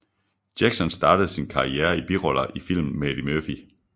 Jackson startede sin karriere i biroller i film med Eddie Murphy